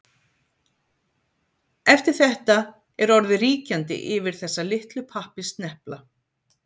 eftir þetta er orðið ríkjandi yfir þessa „litlu pappírssnepla“